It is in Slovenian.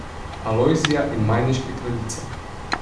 Alojzija in Majniške kraljice.